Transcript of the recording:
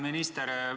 Härra minister!